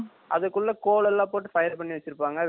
அதுக்குள்ள coal எல்லாம் போட்டு ஃபயர் பண்ணி வச்சு இருப்பாங்க